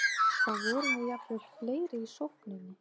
Þá vorum við jafnvel fleiri í sókninni.